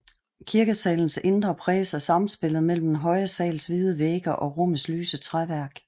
Kirkesalens indre præges af samspillet mellem den høje sals hvide vægge og rummets lyse træværk